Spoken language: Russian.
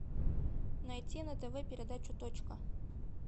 найти на тв передачу точка